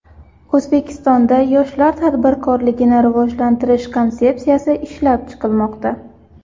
O‘zbekistonda yoshlar tadbirkorligini rivojlantirish konsepsiyasi ishlab chiqilmoqda.